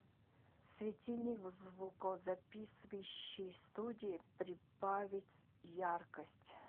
светильник в звукозаписывающей студии прибавить яркость